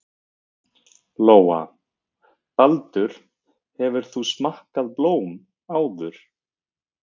Lóa: Baldur, hefur þú smakkað blóm áður?